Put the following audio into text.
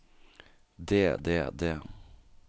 det det det